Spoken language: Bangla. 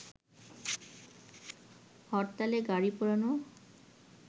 হরতালে গাড়ি পোড়ানো